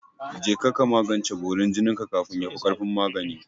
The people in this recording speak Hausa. Je ka magance borin jinin ka kafin yafi ƙarfin magani!